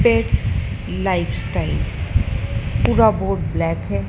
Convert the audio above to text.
Pets lifestyle पुरा board black हैं।